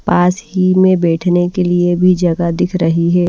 पास ही में बैठने के लिए भी जगह दिख रही है।